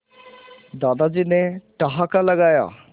दादाजी ने ठहाका लगाया